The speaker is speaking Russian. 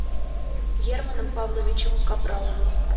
германом павловичем капраловым